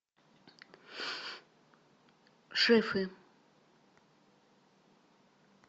шефы